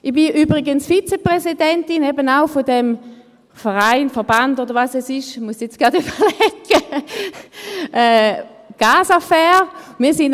» Ich bin übrigens Vizepräsidentin dieses Vereins, Verbands oder was es ist – jetzt muss ich gerade überlegen –, Casafair.